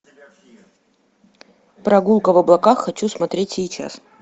прогулка в облаках хочу смотреть сейчас